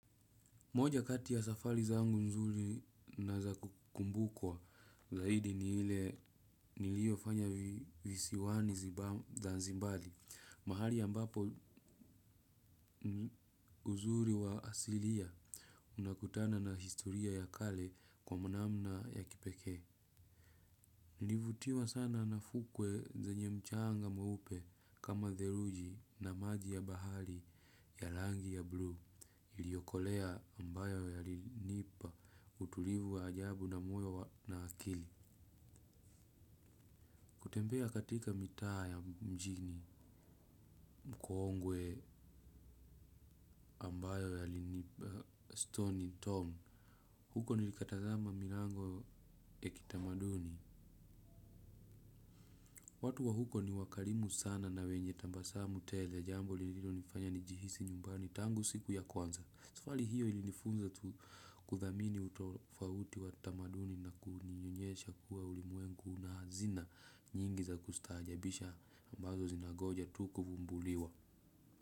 Moja kati ya safari zangu nzuri na za kumbukwa zaidi ni ile nilio fanya visiwani zanzibari. Mahali ambapo uzuri wa asilia unakutana na historia ya kale kwa namna ya kipeke. Nilivutiwa sana nafukwe zenye mchanga mweupe kama dheluji na maji ya bahari ya rangi ya blue iliokolea ambayo yalinipa utulivu wa ajabu na moyo na akili. Kutembea katika mitaa ya mjini mkoongwe ambayo yalinipa stone in town huko nilikatazama milango ya kitamaduni. Watu wa huko ni wakarimu sana na wenye tabasamu tele jambo lililo nifanya ni jihisi nyumbani tangu siku ya kwanza. Safari hiyo ili nifunza kuthamini utofauti wa tamaduni na kunionyesha kuwa ulimwengu na hazina nyingi za kustajabisha ambazo zinangoja tu kuvumbuliwa.